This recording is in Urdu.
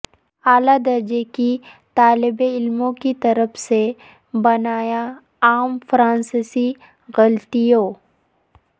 اعلی درجے کی طالب علموں کی طرف سے بنایا عام فرانسیسی غلطیوں